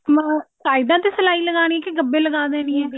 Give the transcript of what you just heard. ਅਮ ਸਾਈਡਾ ਤੇ ਸਲਾਈ ਲਗਾਉਣੀ ਕਿ ਗਭੇ ਲਗਾ ਦੇਣੀ ਹੈ